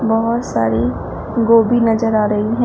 बहोत सारी गोबी नजर आ रही है।